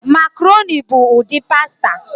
Makaroni bụ ụdị pasta